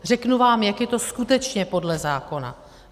Řeknu vám, jak je to skutečně podle zákona.